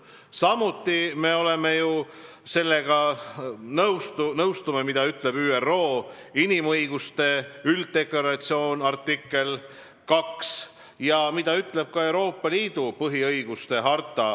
Samuti oleme nõus sellega, mida ütleb ÜRO inimõiguste ülddeklaratsiooni artikkel 2 ja mida ütleb ka Euroopa Liidu põhiõiguste harta.